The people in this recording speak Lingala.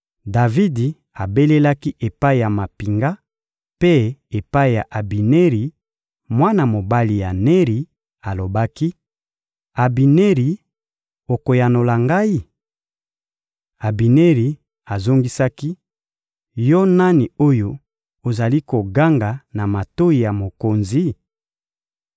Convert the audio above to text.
Davidi abelelaki epai ya mampinga mpe epai ya Abineri, mwana mobali ya Neri; alobaki: — Abineri, okoyanola ngai? Abineri azongisaki: — Yo nani oyo ozali koganga na matoyi ya mokonzi?